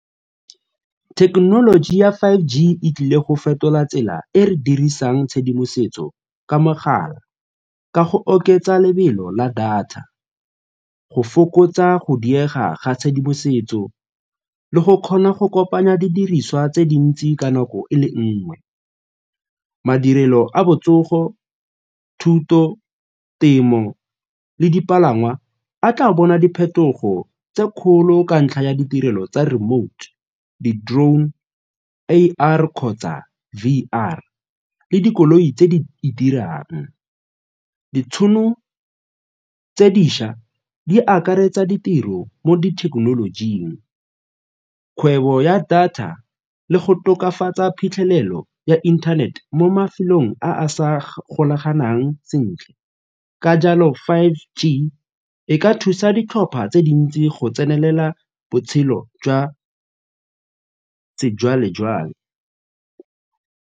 Thekenoloji ya five G e tlile go fetola tsela e re dirisang tshedimosetso ka mogala ka go oketsa lebelo la data, go fokotsa go diega ga tshedimosetso le go kgona go kopanya didiriswa tse dintsi ka nako e le nngwe. Madirelo a botsogo, thuto, temo le dipalangwa a tla bona diphetogo tse kgolo ka ntlha ya ditirelo tsa remote, di-drone, A_R kgotsa V_R le dikoloi tse di dirang. Ditšhono tse dišwa di akaretsa ditiro mo dithekenolojing, kgwebo ya data le go tokafatsa phitlhelelo ya inthanete mo mafelong a a sa golaganang sentle, ka jalo five G e ka thusa ditlhopha tse dintsi go tsenelela botshelo jwa sejwalejwale.